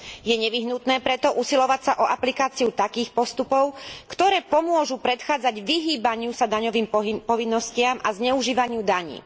Je preto nevyhnutné usilovať sa o aplikáciu takých postupov, ktoré pomôžu predchádzať vyhýbaniu sa daňovým povinnostiam a zneužívaniu daní.